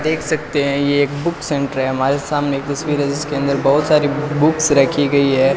देख सकते हैं ये एक बुक सेंटर है हमारे सामने एक तस्वीर है जिसके अंदर बहुत सारे बुक्स रखी गई है।